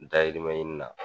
Dayirimɛ ɲini na